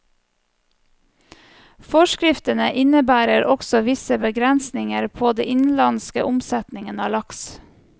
Forskriftene innebærer også visse begrensninger på den innenlandske omsetningen av laks.